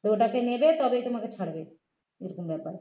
তো ওটা কে নেবে তবে তোমাকে ছাড়বে এরকম ব্যাপার